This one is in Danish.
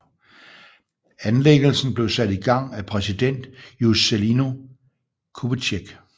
Anlæggelsen blev sat i gang af præsident Juscelino Kubitschek